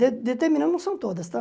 De determina não são todas, tá?